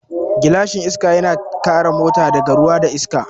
Gilashin Iska yana kare mota daga ruwa da iska